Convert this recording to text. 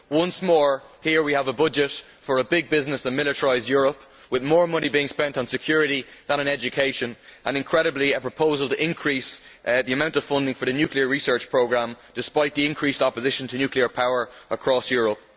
Once more we have a budget for a big business and militarised Europe, with more money being spent on security than on education, and, incredibly, a proposal to increase the amount of funding for the nuclear research programme, despite the increased opposition to nuclear power across Europe.